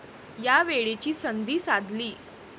या वेळेची संधी साधली.